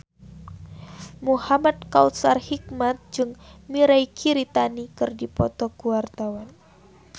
Muhamad Kautsar Hikmat jeung Mirei Kiritani keur dipoto ku wartawan